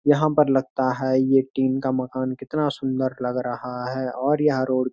यहाँ पर लगता है यह टीन का मकान कितना सुंदर लग रहा है और यहाँ रोड --